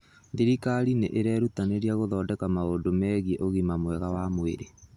Thirikari nĩ ĩrerutanĩria gũthondeka maũndũ megiĩ ũgima mwega wa mwĩrĩ.